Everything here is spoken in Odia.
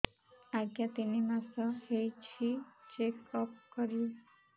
ଆଜ୍ଞା ତିନି ମାସ ହେଇଛି ଚେକ ଅପ କରିବି